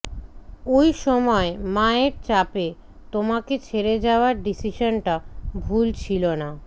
ওই সময় মায়ের চাপে তোমাকে ছেড়ে যাওয়ার ডিসিশনটা ভুল ছিল না